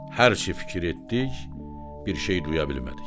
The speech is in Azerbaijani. Hər şeyi fikirləşdik, bir şey duya bilmədik.